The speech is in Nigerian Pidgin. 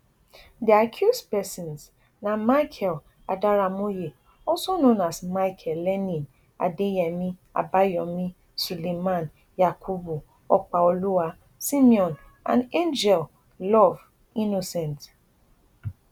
di accused pesins na michael adaramoye also known as michael lenin adeyemi abayomi suleiman yakubu opaoluwa simeon and angel love innocent